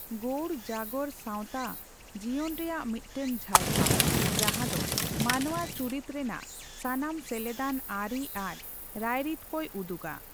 ᱜᱳᱣᱲᱚ ᱡᱟᱜᱚᱨ ᱥᱟᱣᱛᱟ ᱡᱤᱭᱚᱱ ᱨᱮᱭᱟᱜ ᱢᱤᱫᱴᱟᱝ ᱡᱷᱟᱞᱠᱟᱣ, ᱡᱟᱦᱟᱸ ᱫᱚ ᱢᱟᱱᱣᱟ ᱪᱩᱨᱤᱛ ᱨᱮᱱᱟᱜ ᱥᱟᱱᱟᱢ ᱥᱮᱞᱮᱫᱟᱱ ᱟᱹᱨᱤ ᱟᱨ ᱨᱟᱭᱨᱤᱛ ᱠᱚᱭ ᱩᱫᱩᱜᱟ ᱾